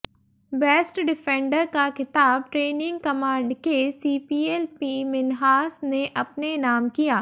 best defender का खिताब training command के सीपीएल पी मिन्हास ने अपने नाम किया